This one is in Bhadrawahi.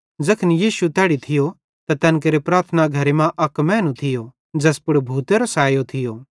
ज़ैखन यीशु तैड़ी थियो त तैन केरे प्रार्थना घरे मां अक मैनू थियो ज़ैस पुड़ भूतेरो सायो थियो